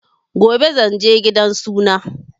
Gobe zanje gidan suna